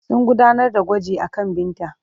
Sun gudanar da gwaji akan Binta.